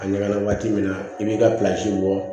A ɲaga na waati min na i b'i ka bɔ